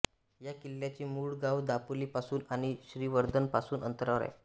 या किल्ल्याचे मूळ गाव दापोली पासून आणि श्रीवर्धन पासून अंतरावर आहे